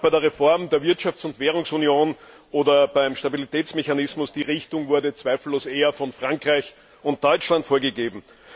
Egal ob bei der Reform der Wirtschafts und Währungsunion oder beim Stabilitätsmechanismus die Richtung wurde zweifellos eher von Frankreich und Deutschland vorgegeben.